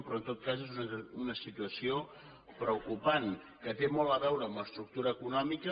però en tot cas és una situació preocupant que té molt a veure amb l’estructura econòmica